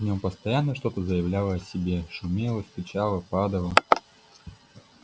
в нём постоянно что-то заявляло о себе шумело стучало падало